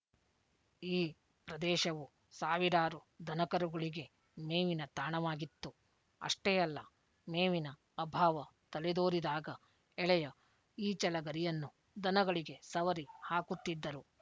ಈ ಪ್ರದೇಶವು ಸಾವಿರಾರು ದನಕರುಗಳಿಗೆ ಮೇವಿನ ತಾಣವಾಗಿತ್ತು ಅಷ್ಟೇ ಅಲ್ಲ ಮೇವಿನ ಅಭಾವ ತಲೆದೋರಿದಾಗ ಎಳೆಯ ಈಚಲಗರಿಯನ್ನು ದನಗಳಿಗೆ ಸವರಿ ಹಾಕುತ್ತಿದ್ದರು